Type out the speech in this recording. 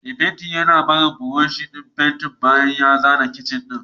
Mai fenti ya bar brush din fenti bayan ya zana kicin din